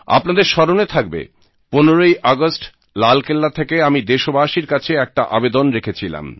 আপনাদের স্মরণে থাকবে 15 ই আগস্ট লালকেল্লা থেকে আমি দেশবাসীর কাছে একটা আবেদন রেখেছিলাম